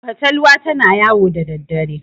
fatalwa tana yawo da daddare